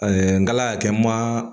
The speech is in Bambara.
ngala kɛ n ma